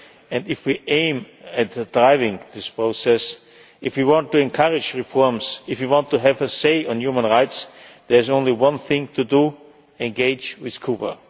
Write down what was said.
and if we aim at driving this process if we want to encourage reforms, if we want to have a say on human rights there is only one thing to do engage with Cuba.